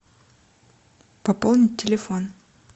пополнить телефон